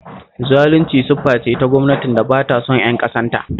Zalunci siffa ce ta gwamnatin da ba ta son ƴan ƙasarta